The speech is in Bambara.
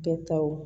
Bɛɛ taw